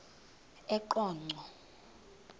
eqonco